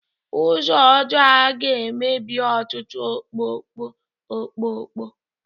Ụzọ ọjọọ a ga-emebi ọtụtụ ọkpọkpọ ọkpọkọ